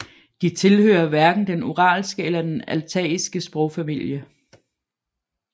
De tilhører hverken den uralske eller den altaiske sprogfamilie